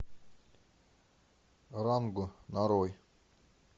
ранго нарой